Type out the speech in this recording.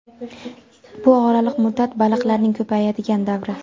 Bu oraliq muddat – baliqlarning ko‘payadigan davri.